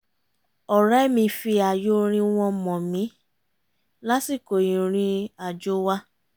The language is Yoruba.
ọ̀rẹ́ mi fi ààyò orin wọn mọ̀ mí lásìkò ìrìn àjò wa